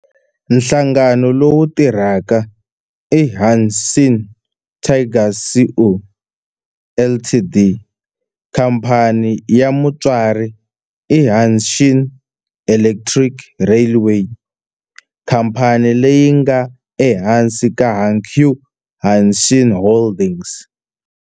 Nhlangano lowu tirhaka i Hanshin Tigers Co., Ltd. Khamphani ya mutswari i Hanshin Electric Railway, khamphani leyi nga ehansi ka Hankyu Hanshin Holdings.